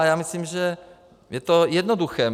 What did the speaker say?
A já myslím, že je to jednoduché.